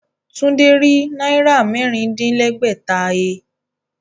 Tunji rí Náírà mẹ́rin-din-lẹ́gbẹ̀ta he